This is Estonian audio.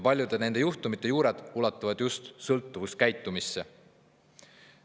Paljude nende juhtumite juured ulatuvad just sõltuvuskäitumisse.